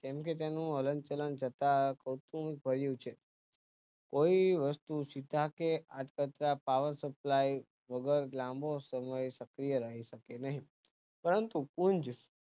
કેમ કે તેનું હલનચલન કરતાં પોહચયુ હોય છે કોરી વસ્તુ સુકતા કે અર્થતંત્ર પારખશુક્લા એ બહુ જ લાંબો સમય સક્રિય રહી શકે નહિ પરંતુ કુંજ